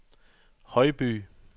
Højby